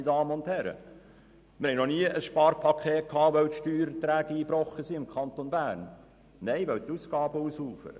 Wir mussten noch nie ein Sparpaket schnüren, weil im Kanton Bern die Steuererträge eingebrochen sind, sondern weil die Ausgaben ausufern.